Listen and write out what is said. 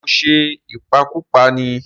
Ṣé ó ṣe ìpakúpa ní?